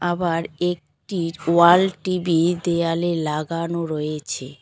আবার একটি wall TV দেওয়ালে লাগানো রয়েছে।